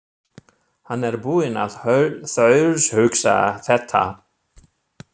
Hann er búinn að þaulhugsa þetta.